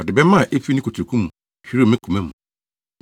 Ɔde bɛmma a efi ne kotoku mu hwirew me koma mu.